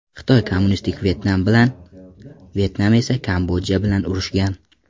Xitoy kommunistik Vyetnam bilan, Vyetnam esa Kambodja bilan urushgan.